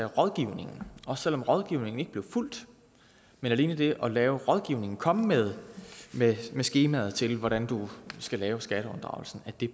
rådgivninger og selv om rådgivningen ikke bliver fulgt men alene det at lave rådgivning komme med skemaet til hvordan du skal lave skatteunddragelsen